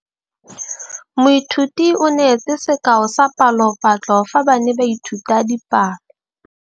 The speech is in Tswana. Moithuti o neetse sekaô sa palophatlo fa ba ne ba ithuta dipalo.